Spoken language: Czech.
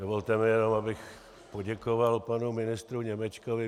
Dovolte mi jenom, abych poděkoval panu ministru Němečkovi.